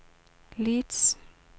Leeds